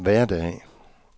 hverdag